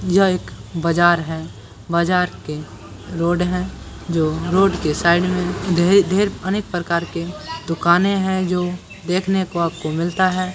यह एक बाजार है बाजार के रोड है जो रोड के साइड मे ढेर ढेर अनेक प्रकार के दुकाने है जो देखने को आपको मिलता है ।